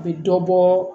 A bɛ dɔ bɔ